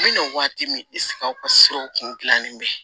N bɛna waati min aw ka siraw kun dilannen bɛ